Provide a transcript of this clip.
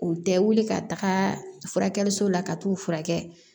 U tɛ wuli ka taga furakɛli la ka t'u furakɛ